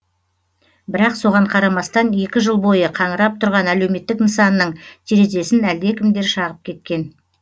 бірақ соған қарамастан екі жыл бойы қаңырап тұрған әлеуметтік нысанның терезесін әлдекімдер шағып кеткен